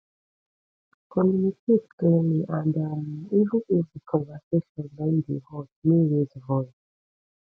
communicate clearly and um even if di conversation don dey hot no raise voice